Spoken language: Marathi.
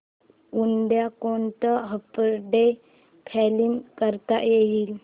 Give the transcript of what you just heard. उद्या कोणतं अपडेट प्लॅन करता येईल